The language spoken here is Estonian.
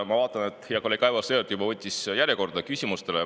Ma vaatan, et hea kolleeg Aivar Sõerd pani ennast juba küsimise järjekorda.